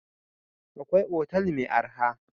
Akwai otal mai arha.